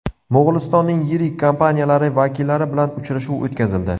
Mo‘g‘ulistonning yirik kompaniyalari vakillari bilan uchrashuv o‘tkazildi.